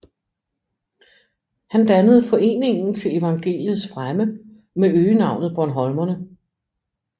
Han dannede Foreningen til Evangeliets Fremme med øgenavnet Bornholmerne